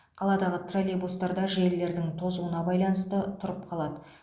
қаладағы троллейбустар да желілердің тозуына байланысты тұрып қалады